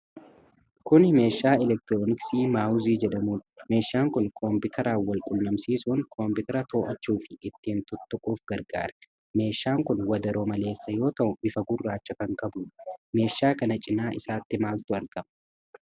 Kuni meeshaa elektirooniksii maawuzii jedhamuudha. meeshaan kun kompitaraan wal qunnamsiisuun kompiitara to'achuufi ittiin tuttuquuf gargaara. Meeshaan kun wadaroo maleessa yoo ta'u, bifa gurraacha kan qabuudha. Meeshaa kana cinaa isaatti maaltu argama?